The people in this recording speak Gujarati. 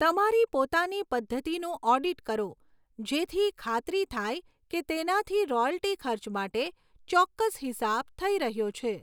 તમારી પોતાની પદ્ધતિનું ઓડિટ કરો જેથી ખાતરી થાય કે તેનાથી રોયલ્ટી ખર્ચ માટે ચોક્કસ હિસાબ થઈ રહ્યો છે.